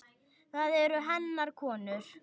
Það eru hennar konur.